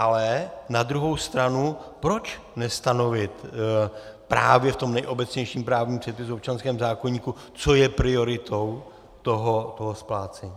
Ale na druhou stranu, proč nestanovit právě v tom nejobecnějším právním předpisu, občanském zákoníku, co je prioritou toho splácení?